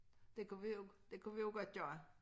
Det kunne vi jo det kunne vi jo godt gøre